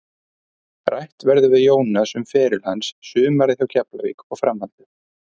Rætt verður við Jónas um feril hans, sumarið hjá Keflavík og framhaldið.